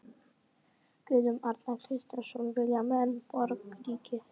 Guðjón Arnar Kristjánsson: Vilja menn borgríki?